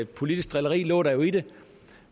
politisk drilleri lå der jo i det